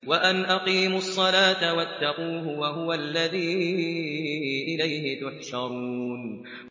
وَأَنْ أَقِيمُوا الصَّلَاةَ وَاتَّقُوهُ ۚ وَهُوَ الَّذِي إِلَيْهِ تُحْشَرُونَ